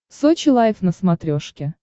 сочи лайв на смотрешке